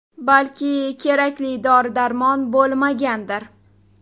Balki, kerakli dori-darmon bo‘lmagandir.